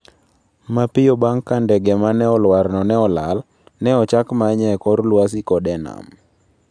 Mapiyo bang' ka ndege ma ne olwarno ne olal, ne ochak manye e kor lwasi koda e nam.